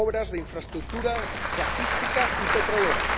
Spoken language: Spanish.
de infraestructura gasística y petrolera.